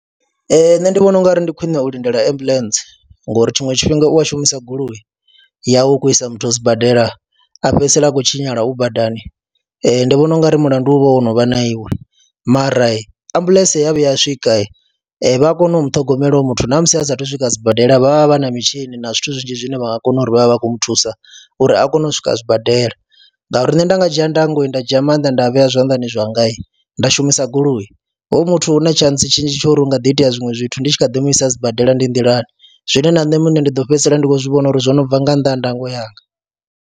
Ee, nṋe ndi vhona u nga ri ndi khwiṋe u lindela ambuḽentse ngori tshiṅwe tshifhinga u a shumisa goloi yau u khou isa muthu sibadela a fhedzisela a khou tshinyala u badani, ndi vhona u nga ri mulandu u vha o no vha na iwe mara ambuḽentse ya vhuya a swika vha a kona u mu ṱhogomela uyu muthu na musi a saathu swika sibadela vha vha vha na mitshini na zwithu zwinzhi zwine vha nga kona uri vha vhe vha khou mu thusa uri a kone u swika sibadela, ngauri nṋe nda nga dzhia ndango, nda dzhia maanḓa nda vhea zwanḓani zwanga nda shumisa goloi hoyu muthu hu na tshantsi tshinzhi tsho ri hu nga ḓi itea zwiṅwe zwithu ndi tshi kha ḓi mu isa sibadela ndi nḓilani zwine na nṋe muṋe ndi ḓo fhedzisela ndi khou zwi vhona uri zwo no bva nga nnḓa ha ndango yanga.